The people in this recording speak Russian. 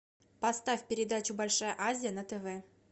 поставь передачу большая азия на тв